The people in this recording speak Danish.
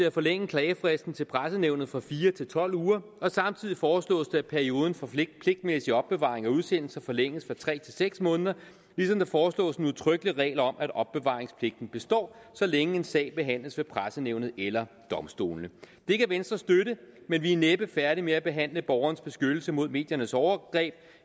at forlænge klagefristen til pressenævnet fra fire uger til tolv uger og samtidig foreslås det at perioden for pligtmæssig opbevaring af udsendelser forlænges fra tre måneder til seks måneder ligesom der foreslås en udtrykkelig regel om at opbevaringspligten består så længe en sag behandles ved pressenævnet eller domstolene det kan venstre støtte men vi er næppe færdige med at behandle borgerens beskyttelse mod mediernes overgreb